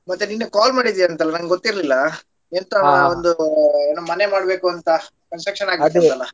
ಮತ್ತೆ ನಿನ್ನೆ call ಮಾಡಿದಿ ಅಂತೆ ಅಲ್ಲ ನನ್ಗೆ ಗೊತ್ತಿರಲಿಲ್ಲಾ ಎಂತ ಒಂದು ಮನೆ ಮಾಡಬೇಕು ಅಂತ construction ಆಗ್ಬೇಕಲ್ಲ.